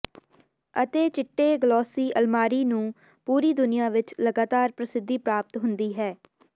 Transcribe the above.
ਅਤੇ ਚਿੱਟੇ ਗਲੋਸੀ ਅਲਮਾਰੀ ਨੂੰ ਪੂਰੀ ਦੁਨੀਆਂ ਵਿਚ ਲਗਾਤਾਰ ਪ੍ਰਸਿੱਧੀ ਪ੍ਰਾਪਤ ਹੁੰਦੀ ਹੈ